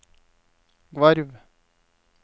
Gvarv